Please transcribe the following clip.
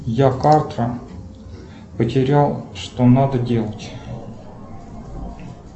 я карту потерял что надо делать